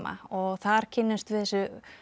og þar kynnumst við þessu